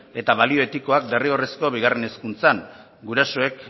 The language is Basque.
eta balio etikoak derrigorrezko bigarren hezkuntzan gurasoek